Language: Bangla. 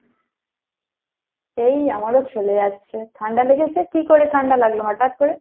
এই আমারও চলে যাচ্ছে, ঠান্ডা লেগেছে? কী করে ঠান্ডা লাগলো হঠাৎ করে?